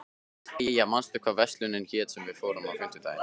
Eyja, manstu hvað verslunin hét sem við fórum í á fimmtudaginn?